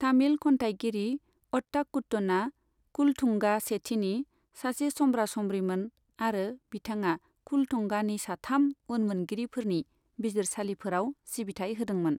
तामिल खन्थायगिरि अट्टाकुट्टनआ कुल'थुंगा सेथिनि सासे सम्ब्रा सम्ब्रिमोन आरो बिथाङा कुल'थुंगानि साथाम उनमोनगिरिफोरनि बिजिरसालिफोराव सिबिथाय होदोंमोन।